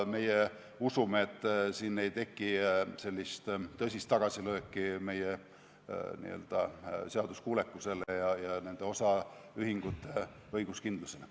Meie usume, et siin ei teki tõsist tagasilööki n-ö seaduskuulekusele ja osaühingute õiguskindlusele.